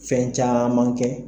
Fɛn caman kɛ